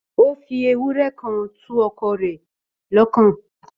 Ó fi ewúrẹ́ kan tu ọkọ rẹ̀ lọ́kàn